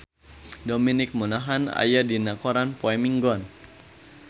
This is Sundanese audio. Dominic Monaghan aya dina koran poe Minggon